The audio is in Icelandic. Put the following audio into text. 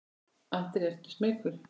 Andri: Ertu ekkert smeykur?